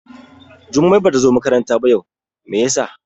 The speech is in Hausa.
Jummai Bata zo makaranta yau ba, Mai ya sa?